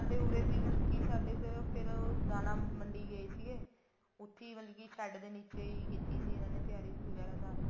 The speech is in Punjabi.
ਸਾਡੇ ਵੀ ਉਰੇ ਫੇਰ ਮਤਲਬ ਦਾਣਾ ਮੰਡੀ ਗਏ ਸੀਗੇ ਉੱਥੀ ਮਤਲਬ ਕਿ ਸ਼ੇਡ ਦੇ ਨੀਚੇ ਹੀ ਕੀਤੀ ਸੀ ਉਹਨਾ ਨੇ ਤਿਆਰੀ ਵਗੈਰਾ ਸਾਰੀ